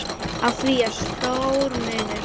Á því er stór munur.